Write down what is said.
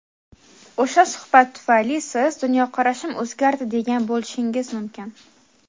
O‘sha suhbat tufayli siz "Dunyoqarashim o‘zgardi" degan bo‘lishingiz mumkin.